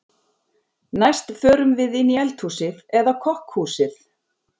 Næst förum við inn í eldhúsið eða kokkhúsið.